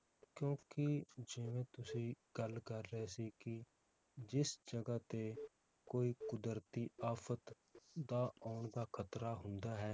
ਕਿਉਂਕਿ ਜਿਵੇ ਤੁਸੀਂ ਗੱਲ ਕਰ ਰਹੇ ਸੀ ਕਿ ਜਿਸ ਜਗਾਹ ਤੇ ਕੋਈ ਕੁਦਰਤੀ ਆਫ਼ਤ ਦਾ ਆਉਣ ਦਾ ਖ਼ਤਰਾ ਹੁੰਦਾ ਹੈ